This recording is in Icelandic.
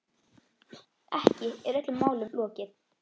Ekki er öllum málum lokið.